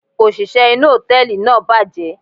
òṣìṣẹ́ inú hòtẹ́ẹ̀lì náà bàjẹ́.